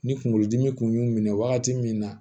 Ni kunkolodimi kun y'u minɛ wagati min na